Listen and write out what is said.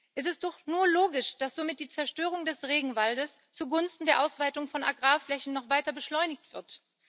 Es ist doch nur logisch, dass somit die Zerstörung des Regenwaldes zugunsten der Ausweitung von Agrarflächen noch weiter beschleunigt wird.